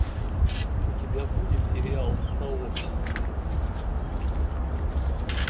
у тебя будет сериал сообщество